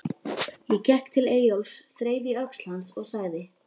Ég gekk til Eyjólfs, þreif í öxl hans og sagði